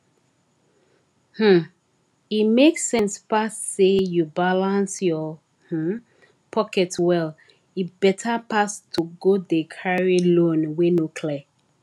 um e make sense pass say you balance your um pocket well e better pass to go dey carry loan wey no clear